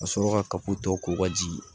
Ka sɔrɔ ka tɔ ko ka ji